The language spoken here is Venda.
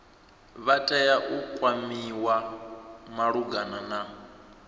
vha tea u kwamiwa malugana